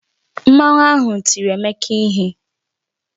Mmanwu ahụ tiri Emeka ihe